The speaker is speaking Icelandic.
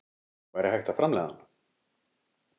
Væri hægt að framleiða hann?